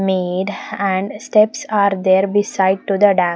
Made and steps are there beside to the dam.